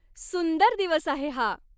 सुंदर दिवस आहे हा.